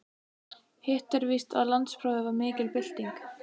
Hitt er víst að landsprófið var mikil bylting.